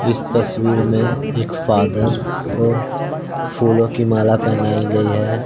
इस तस्वीर में एक फ़ादर को फूलों की माला पहनाई गई है।